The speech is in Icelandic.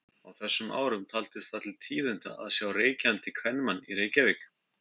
Á þessum árum taldist það til tíðinda að sjá reykjandi kvenmann í Reykjavík.